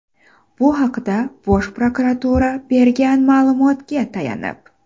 Bu haqda Bosh prokuratura bergan ma’lumotga tayanib.